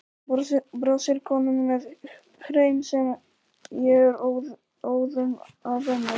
brosir konan með hreim sem ég er óðum að venjast.